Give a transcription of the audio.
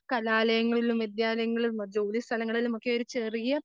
കലാലയങ്ങളിലും വിദ്യാലയങ്ങളിലും ജോലിസ്ഥലങ്ങളിലുമൊക്കെ